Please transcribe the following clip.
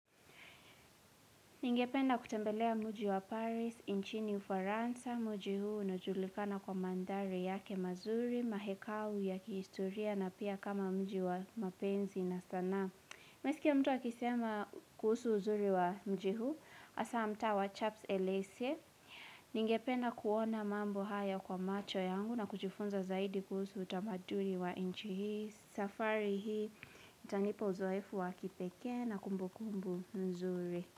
Ningependa kutembelea muji wa Paris, inchini ufaransa, muji huu unajulikana kwa mandhari yake mazuri, mahekau ya kihistoria na pia kama muji wa mapenzi na sanaa. Nimeski ya mtu akisema kuhusu uzuri wa mji huu, asa mtaa wa chaps elese. Ningependa kuona mambo haya kwa macho yangu na kujufunza zaidi kuhusu utamadui wa inchi hii, safari hii, itanipa uzoefu wa kipekee na kumbukumbu nzuri.